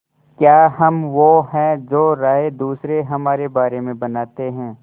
क्या हम वो हैं जो राय दूसरे हमारे बारे में बनाते हैं